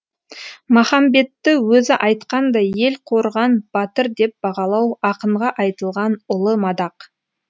махамбетті өзі айтқандай ел қорыған батыр деп бағалау ақынға айтылған ұлы мадақ